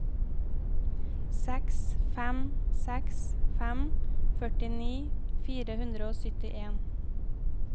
seks fem seks fem førtini fire hundre og syttien